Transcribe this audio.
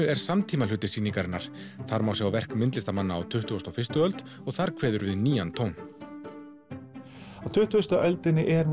er samtímahluti sýningarinnar þar má sjá verk myndlistamanna á tuttugustu og fyrstu öld og þar kveður við nýjan tón á tuttugustu öld er